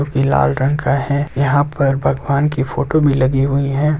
जो कि लाल रंग का है यहां पर भगवान की फोटो भी लगी हुई है।